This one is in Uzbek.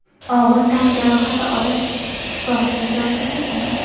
og‘ir tan jarohati olib shifoxonaga yotqizilgan.